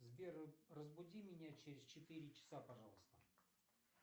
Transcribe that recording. сбер разбуди меня через четыре часа пожалуйста